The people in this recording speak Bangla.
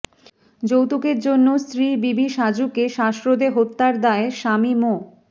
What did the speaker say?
যৌতুকের জন্য স্ত্রী বিবি সাজুকে শ্বাসরোধে হত্যার দায়ে স্বামী মো